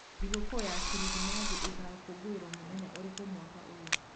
Thigūku ya kirithimathi īgakoruo muthenya ūrikū mwaka ūyu?